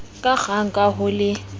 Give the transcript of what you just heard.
ka kgang ka ho le